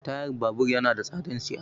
Tayan babur yana da tsadan siya.